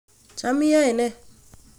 Cham iyoe ne?